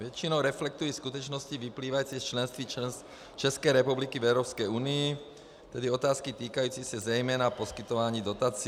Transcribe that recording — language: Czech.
Většinou reflektují skutečnosti vyplývající z členství České republiky v Evropské unii, tedy otázky týkající se zejména poskytování dotací.